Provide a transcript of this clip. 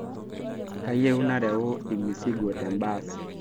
Kayieu nareu lmesigo tembaas